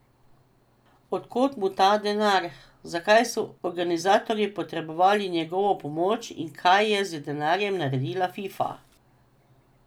Od kod mu ta denar, zakaj so organizatorji potrebovali njegovo pomoč in kaj je z denarjem naredila Fifa?